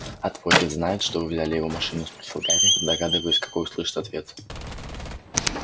а твой дед знает что вы взяли его машину спросил гарри догадываясь какой услышит ответ